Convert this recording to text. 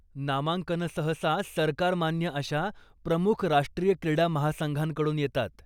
नामांकनं सहसा सरकारमान्य अशा प्रमुख राष्ट्रीय क्रीडा महासंघांकडून येतात.